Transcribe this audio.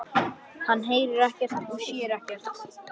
Hann heyrir ekkert og sér ekkert.